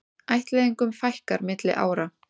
Ættleiðingum fækkar milli ára